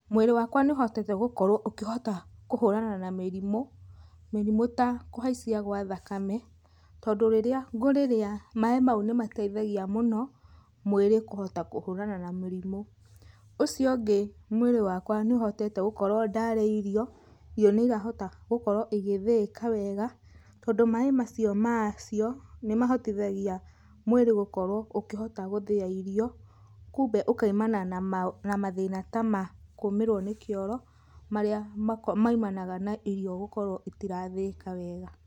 Mwĩrĩ wakwa nĩ ũhotete gũkorwo ũkĩhota kũhũrana na mĩrimũ, mĩrimu ta kũhaicia gwa thakame. Tondũ rĩrĩa ngũrĩrĩa maĩ mau nĩ mateithagia mũno mwĩrĩ kũhota kũhũrana na mĩrimũ. Ũcio ũngĩ mwĩrĩ wakwa nĩ ũhotete gũkorwo ndarĩa irio, irio nĩ irahota gũkorwo igĩthĩĩka wega. Tondũ maĩ macio macio nĩ mahotithagia mwĩrĩ gũkorwo ũkĩhota gũthĩa irio. Kumbe ũkaimana na mathĩna ta ma kũmĩrwo nĩ kĩoro, marĩa maimanaga na gũkorwo irio itirathĩĩka wega.